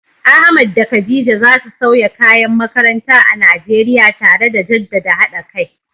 Ahmad da Khadija za su sauya kayan makaranta a Najeriya, tare da jaddada haɗa kai.